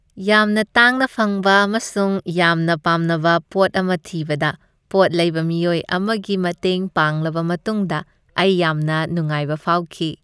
ꯌꯥꯝꯅ ꯇꯥꯡꯅ ꯐꯪꯕ ꯑꯃꯁꯨꯡ ꯌꯥꯝꯅ ꯄꯥꯝꯅꯕ ꯄꯣꯠ ꯑꯃ ꯊꯤꯕꯗ ꯄꯣꯠ ꯂꯩꯕ ꯃꯤꯑꯣꯏ ꯑꯃꯒꯤ ꯃꯇꯦꯡ ꯄꯥꯡꯂꯕ ꯃꯇꯨꯡꯗ, ꯑꯩ ꯌꯥꯝꯅ ꯅꯨꯡꯉꯥꯏꯕ ꯐꯥꯎꯈꯤ꯫